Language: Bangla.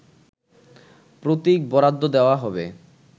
প্রতীক বরাদ্দ দেয়া হবে